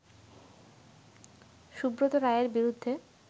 সুব্রত রায়ের বিরুদ্ধে